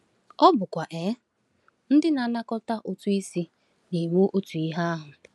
Ọ̀ bụkwa um ndị na-anakọta ụtụ isi na-eme otu ihe ahụ?